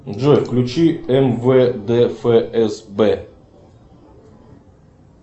джой включи мвд фсб